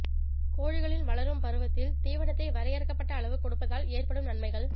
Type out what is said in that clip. கோழிகளின் வளரும் பருவத்தில் தீவனத்தை வரையறுக்கப்பட்ட அளவு கொடுப்பதால் ஏற்படும் நன்மைகள்